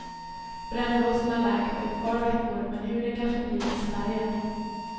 Brännblåsorna läker på ett par veckor, men huden kan förbli missfärgad.